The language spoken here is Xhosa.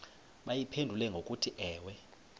bayiphendule ngokuthi ewe